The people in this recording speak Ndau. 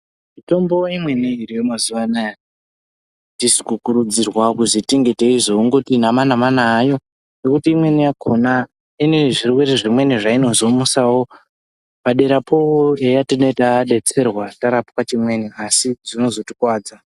Mitombo imweni iriyo mazuwa anaa atisi kukurudzirwa kutzi tinge teizongoti nama nama nayo ngekuti imweni yakhona ine zvirwere zvimweni zvainozomusawo paderapo eya tineetadetserwa tarapwa chimweni asi zvinozotikuwadza.